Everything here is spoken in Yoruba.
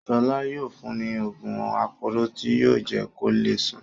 Ṣọlá yóò fún ní òògùn aporó tí yóò jẹ́ kó le sùn.